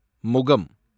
முகம்